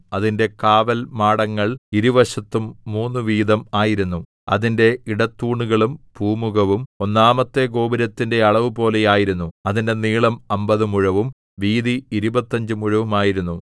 അതിന്റെ കാവൽമാടങ്ങൾ ഇരുവശവും മൂന്നു വീതം ആയിരുന്നു അതിന്റെ ഇടത്തൂണുകളും പൂമുഖവും ഒന്നാമത്തെ ഗോപുരത്തിന്റെ അളവുപോലെ ആയിരുന്നു അതിന്റെ നീളം അമ്പത് മുഴവും വീതി ഇരുപത്തഞ്ച് മുഴവുമായിരുന്നു